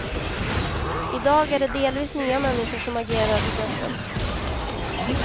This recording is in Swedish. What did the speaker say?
I dag är det delvis nya människor som agerar på börsen.